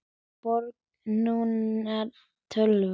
Borg númer tvö.